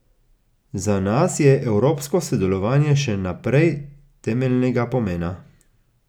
Za nas je evropsko sodelovanje še naprej temeljnega pomena.